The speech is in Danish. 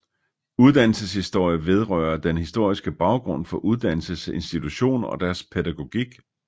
Uddannelseshistorie vedrører den historiske baggrund for uddannelsesinstitutioner og deres pædagogik